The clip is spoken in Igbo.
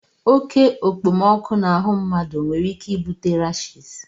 Oke okpomọkụ n'ahụ mmadụ nwere ike ibute rashis